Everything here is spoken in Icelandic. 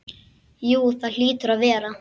Jú það hlýtur að vera.